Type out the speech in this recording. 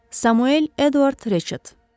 Samuel Eduard Reçet.